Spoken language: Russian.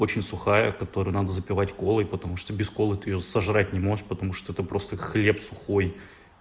очень сухая которая надо запивать колой потому что без колы ты её сожрать не можешь потому что это просто хлеб сухой